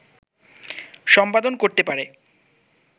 সম্পাদন করতে পারে